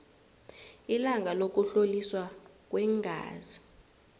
ilanga lokuhloliswa kweengazi